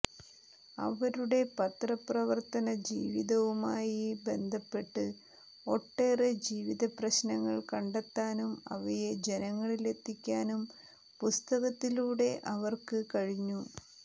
അവരുടെ പത്ര പ്രവർത്തന ജീവിതവുമായി ബന്ധപ്പെട്ട് ഒട്ടേറെ ജീവിതപ്രശ്നങ്ങൾ കണ്ടെത്താനും അവയെ ജനങ്ങളിലെത്തിക്കാനും പുസ്തകത്തിലൂടെ അവർക്ക് കഴിഞ്ഞു